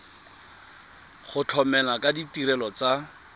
go tlamela ka ditirelo tsa